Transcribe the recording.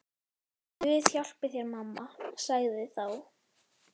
Guð hjálpi þér mamma, sagði þá